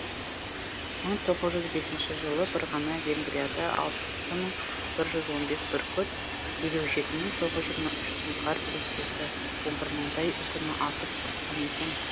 мың тоғыз жүз бесінші жылы бір ғана венгрияда алты мың бір жүз он бес бүркіт елу жеті мың тоғыз жүз жиырма үш сұңқар тектесі он бір мыңдай үкіні атып құртқан екен